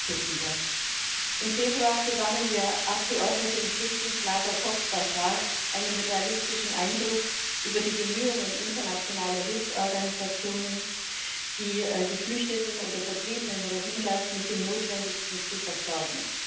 Herr Präsident! Im Februar gewannen wir Abgeordneten im Flüchtlingslager Cox's Bazar einen realistischen Eindruck von den Bemühungen internationaler Hilfsorganisationen, die geflüchteten oder vertriebenen Rohingya mit dem Notwendigsten zu versorgen.